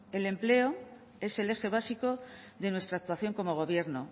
el empleo es el eje básico de nuestra actuación como gobierno